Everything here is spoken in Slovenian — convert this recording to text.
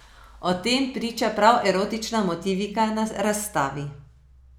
O tem priča prav erotična motivika na razstavi.